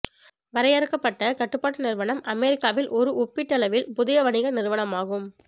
வரையறுக்கப்பட்ட கடப்பாட்டு நிறுவனம் அமெரிக்காவில் ஒரு ஒப்பீட்டளவில் புதிய வணிக நிறுவனமாகும்